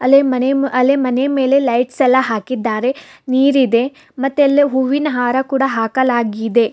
ಮನೆ ಮೇಲೆ ಲೈಟ್ಸ್ ಎಲ್ಲಾ ಹಾಕಿದ್ದಾರೆ ನೀರಿದೆ ಮತ್ತೆ ಅಲ್ಲಿ ಹೂವಿನ ಹಾರ ಕೂಡ ಹಾಕಲಾಗಿದೆ.